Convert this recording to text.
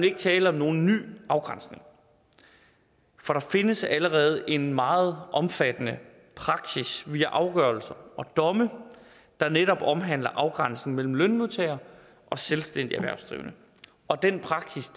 ikke tale om nogen ny afgrænsning for der findes allerede en meget omfattende praksis via afgørelser og domme der netop omhandler afgrænsning mellem lønmodtagere og selvstændigt erhvervsdrivende og den praksis